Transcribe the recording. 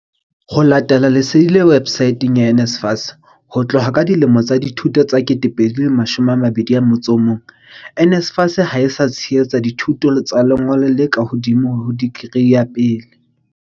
Ho latela lesedi le websaeteng ya NSFAS, ho tloha ka selemo sa dithuto sa 2021, NSFAS ha e sa tshehetsa dithuto tsa lengolo le ka hodimo ho dikri ya pele.